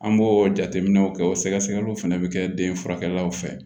An b'o jateminɛw kɛ o sɛgɛsɛgɛliw fana bɛ kɛ den furakɛkɛlaw fɛ